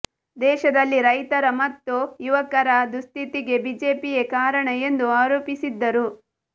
ದೇಶದಲ್ಲಿ ರೈತರ ಮತ್ತು ಯುವಕರ ದುಸ್ಥಿತಿಗೆ ಬಿಜೆಪಿಯೇ ಕಾರಣ ಎಂದು ಆರೋಪಿಸಿದ್ದರು